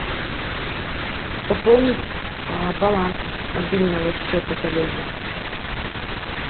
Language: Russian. пополнить баланс мобильного счета коллеги